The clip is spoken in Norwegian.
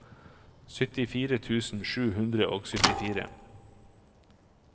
syttifire tusen sju hundre og syttifire